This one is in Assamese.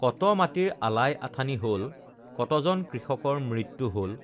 কত মাটীৰ আলাই আথানি হল, কতজন কৃষকৰ মৃত্যু হল!